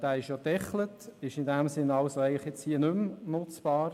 Dieser ist gedeckelt und ist deshalb hier nicht mehr nutzbar.